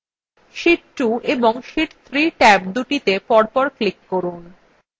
sheet 2 এবং sheet 3 ট্যাবদুটিতে পরপর click করুন